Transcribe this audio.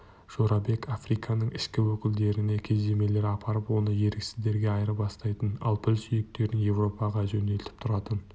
жорабек африканың ішкі өлкелеріне кездемелер апарып оны еріксіздерге айырбастайтын ал піл сүйектерін еуропаға жөнелтіп тұратын